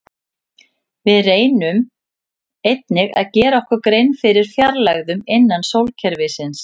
Við reyndum einnig að gera okkur grein fyrir fjarlægðunum innan sólkerfisins.